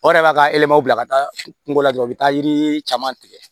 O yɛrɛ b'a ka yɛlɛma bila ka taa kungo la dɔrɔn u bɛ taa yiri caman tigɛ